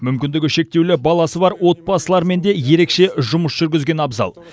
мүмкіндігі шектеулі баласы бар отбасылармен де ерекше жұмыс жүргізген абзал